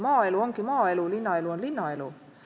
Maaelu on maaelu, linnaelu on linnaelu.